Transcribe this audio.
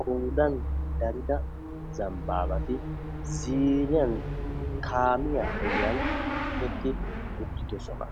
Qoodan darida zambabati ziiriyan kamiyaa ogiyan eqqi uttidosona.